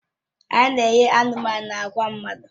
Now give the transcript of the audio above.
A na-enye anụmanụ na agwa mmadụ.